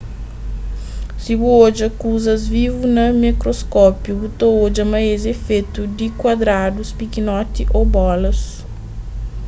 si bu odja kuzas vivu na mikroskopiu bu ta odja ma es é fetu di kuadradus pikinoti ô bolas